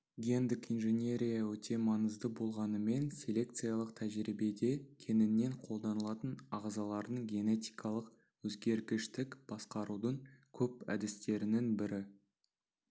гендік инженерия өте маңызды болғанымен селекциялық тәжірибеде кеңінен қолданылатын ағзалардың генетикалық өзгергіштік басқарудың көп әдістерінің бірі